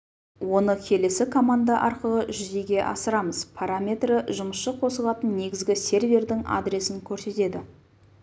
оны келесі команда арқылы жүзеге асырамыз параметрі жұмысшы қосылатын негізгі сервердің адресін көрсетеді